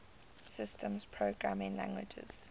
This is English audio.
systems programming languages